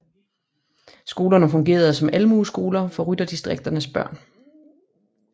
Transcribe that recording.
Skolerne fungerede som almueskoler for rytterdistrikternes børn